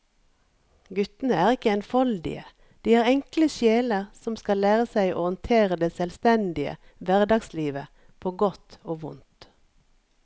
Guttene er ikke enfoldige, de er enkle sjeler som skal lære seg å håndtere det selvstendige hverdagslivet på godt og vondt.